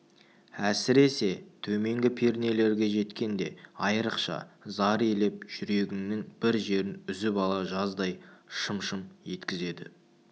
әсіресе төменгі пернелерге жеткенде айрықша зар илеп жүрегіңнің бір жерін үзіп ала жаздай шым-шым еткізеді